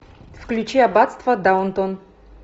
включи аббатство даунтон